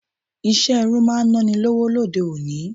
Ìṣe irun máa naa ni lọ́wọ́ lóde òní.